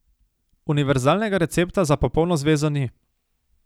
Univerzalnega recepta za popolno zvezo ni.